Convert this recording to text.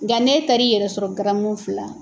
Nga n'e taar'i yɛrɛ sɔrɔ garamu fila